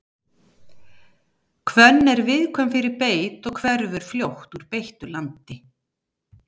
Hvönn er viðkvæm fyrir beit og hverfur fljótt úr beittu landi.